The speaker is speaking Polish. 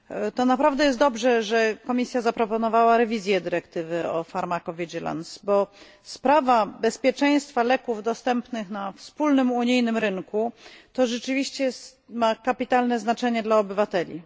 To naprawdę dobrze, że Komisja zaproponowała rewizję dyrektywy o farmakoterapii Sprawa bezpieczeństwa leków dostępnych na wspólnym unijnym rynku rzeczywiście ma kapitalne znaczenie dla obywateli.